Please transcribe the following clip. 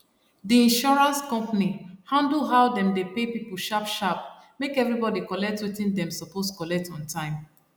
di insurance company handle how dem dey pay people sharp sharp make everybody collect wetin dem suppose collect on time